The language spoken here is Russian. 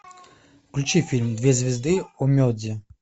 включи фильм две звезды онмеджи